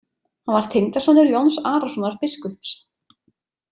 Hann var tengdasonur Jóns Arasonar biskups.